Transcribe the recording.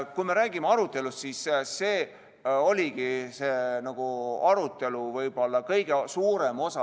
Kui me räägime arutelust, siis see oligi see, mis võttis arutelust võib-olla kõige suurema osa.